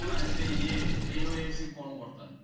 অরে সেই এ railway এর সেই কর্মকর্তা